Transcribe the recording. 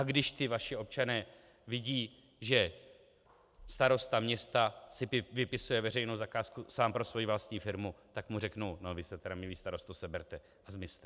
A když ti vaši občané vidí, že starosta města si vypisuje veřejnou zakázku sám pro svoji vlastní firmu, tak mu řeknu: No vy se teda, milý starosto, seberte a zmizte!